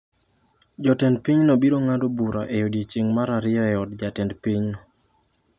Jotend pinyno biro ng’ado bura e odiechieng’ mar ariyo e od jatend piny.